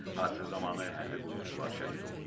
Hadisə zamanı hərbi qulluqçular şəhid olub.